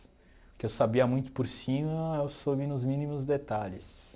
O que eu sabia muito por cima, eu soube nos mínimos detalhes.